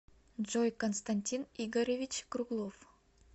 джой константин игоревич круглов